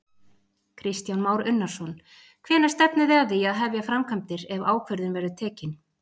Kristján Már Unnarsson: Hvenær stefnið þið að því að hefja framkvæmdir ef ákvörðun verður tekin?